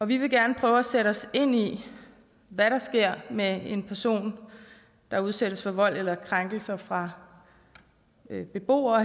vi vil gerne prøve at sætte os ind i hvad der sker med en person der udsættes for vold eller krænkelser fra beboere